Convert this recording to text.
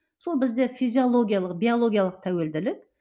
сол бізде физиологиялық биологиялық тәуелділік